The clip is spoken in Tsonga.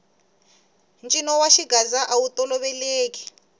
ncino wa xigaza awu toloveleki